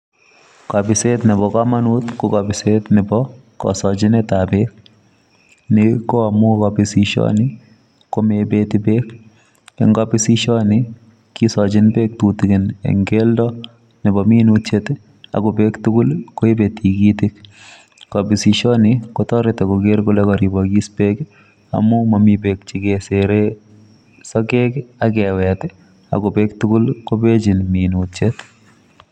Kobiset nebo kamanut ko kabiset nebo kasochinet ab beek; ni ko amu kabisisioni komoibeti beek, en kabisisioni kisochin beek tutigin en keldo nebo minutiet ako beek tugul koibe tigitik. Kabisisioni kotoreti koker kole karibokis beek amu momi beek chekeser sokek ak kewet ako beek tugul kobechin minutiet.